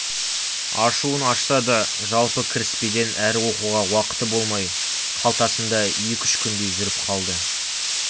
ашуын ашса да жалпы кіріспеден әрі оқуға уақыты болмай қалтасында екі-үш күндей жүріп қалды